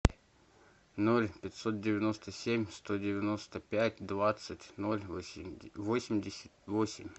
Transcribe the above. ноль пятьсот девяносто семь сто девяносто пять двадцать ноль восемьдесят восемь